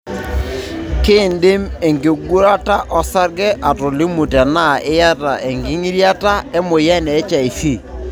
kindim enkingurata olsarge atolimu tenaa iyata engitirata emoyian e HIV.